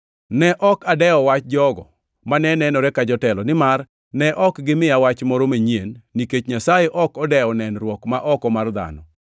Ne ok adewo wach jogo mane nenore ka jotelo, nimar ne ok gimiya wach moro manyien nikech Nyasaye ok odewo nenruok ma oko mar dhano.